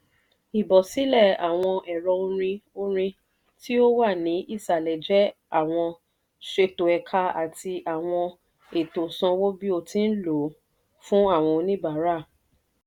ìbọ́sílẹ̀ àwọn ẹ̀ro orin orin tí ó wà ní ìsàlẹ̀ jẹ́ àwọn ṣètò ẹ̀ka àti àwọn ètò sanwó-bí-o-tí-ń-lọ fún àwọn oníbàárà.